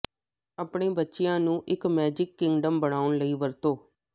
ਆਪਣੇ ਬੱਚਿਆ ਨੂੰ ਇੱਕ ਮੈਜਿਕ ਕਿੰਗਡਮ ਬਣਾਉ ਲਈ ਵਰਤੋਂ